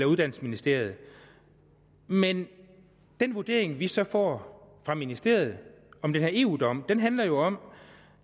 uddannelsesministeriet men den vurdering vi så får fra ministeriet om den her eu dom handler jo om